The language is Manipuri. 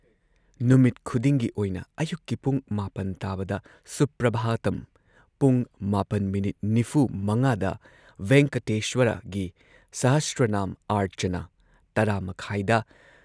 ꯅꯨꯃꯤꯠ ꯈꯨꯗꯤꯡꯒꯤ ꯑꯣꯏꯅ ꯑꯌꯨꯛꯀꯤ ꯄꯨꯡ ꯹ ꯇꯥꯕꯗ ꯁꯨꯄ꯭ꯔꯚꯥꯇꯝ, ꯄꯨꯡ ꯹.꯴꯵ ꯗ ꯚꯦꯡꯀꯇꯦꯁ꯭ꯋꯔꯒꯤ ꯁꯍꯁ꯭ꯔꯅꯥꯝ ꯑꯔꯆꯅꯥ ꯱꯰.꯳꯰ ꯗ